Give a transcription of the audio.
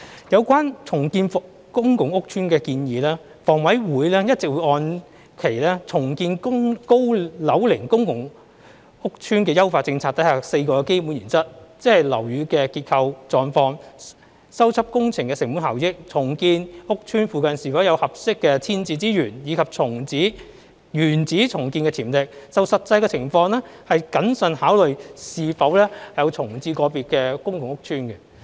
有關重建公共屋邨的建議，房委會一直按其"重建高樓齡公共租住屋邨的優化政策"下的4個基本原則，即樓宇的結構狀況、修葺工程的成本效益、重建屋邨附近是否有合適的遷置資源，以及原址重建的潛力，就實際情況謹慎考慮是否重建個別公共屋邨。